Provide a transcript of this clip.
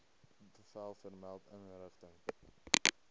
bevel vermelde inrigting